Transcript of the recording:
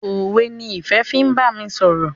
òwe ni Ìfẹ fín bámi sọrọ.